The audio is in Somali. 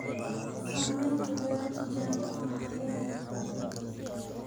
Samaynta beero tijaabo ah waxay leedahay faa'iidooyin badan.